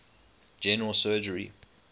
general surgery